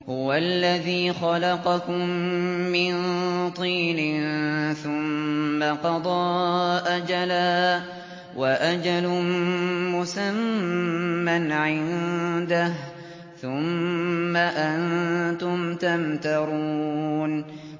هُوَ الَّذِي خَلَقَكُم مِّن طِينٍ ثُمَّ قَضَىٰ أَجَلًا ۖ وَأَجَلٌ مُّسَمًّى عِندَهُ ۖ ثُمَّ أَنتُمْ تَمْتَرُونَ